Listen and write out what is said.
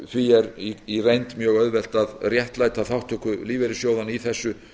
því er í reynd mjög auðvelt að réttlæta þátttöku lífeyrissjóðanna í þessu